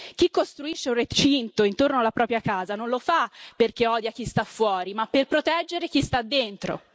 Chi costruisce un recinto intorno alla propria casa non fa perché odia chi sta fuori, ma per proteggere chi sta dentro.